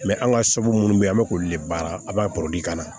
an ka so munnu bɛ yen an bɛ k'olu de baara a b'a ka na